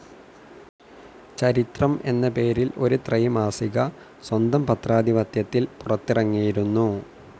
ചരിത്രം എന്ന പേരിൽ ഒരു ത്രൈമാസിക സ്വന്തം പത്രാധിപത്യത്തിൽ പുറത്തിറങ്ങിയിരുന്നു.